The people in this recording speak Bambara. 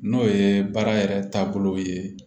N'o ye baara yɛrɛ taabolo ye